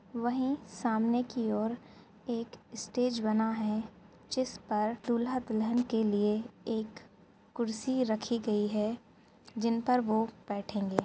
वहीं सामने की ओर एक स्टेज बना है जिस पर दूल्हा-दुल्हन के लिए एक कुर्सी रखी गई है जिन पर वो बैठेंगे --